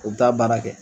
U bɛ taa baara kɛ